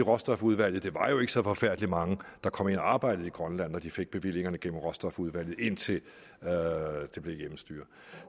råstofudvalget det var jo ikke så forfærdelig mange der kom ind og arbejdede i grønland når de fik bevillingerne gennem råstofudvalget indtil det blev et hjemmestyre